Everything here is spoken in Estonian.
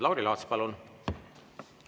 Lauri Laats, palun!